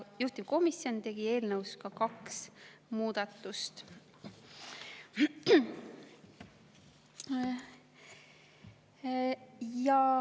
Juhtivkomisjon tegi ka eelnõus kaks muudatust.